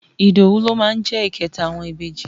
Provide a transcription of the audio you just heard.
Ìdòwú ló máa jẹ́ ìkẹta àwọn ìbejì.